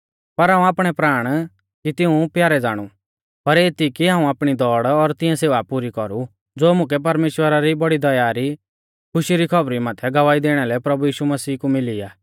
पर हाऊं आपणै प्राण कुछ़ ना सौमझ़दौ कि तिऊं प्यारै ज़ाणु पर एती कि हाऊं आपणी दौड़ और तिऐं सेवा पुरी कौरु ज़ो मुकै परमेश्‍वरा री बौड़ी दया री खुशी री खौबरी माथै गवाही दैणा लै प्रभु यीशु मसीह कु मिली आ